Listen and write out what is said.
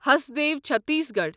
Hasdeo Chhattisgarh